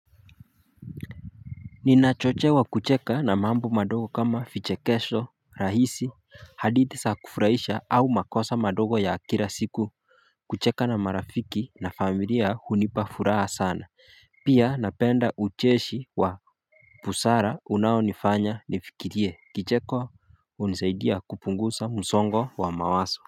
Ninachochewa kucheka na mambo madogo kama fiche kesho rahisi hadithi saa kufurahisha au makosa madogo ya akira siku. Kucheka na marafiki na familia hunipafuraha sana. Pia napenda ucheshi wa busara unaonifanya nifikirie kicheko. Unisaidia kupungusa msongo wa mawaso.